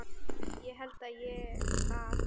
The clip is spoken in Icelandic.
Það held ég að.